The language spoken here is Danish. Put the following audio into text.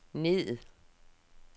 ned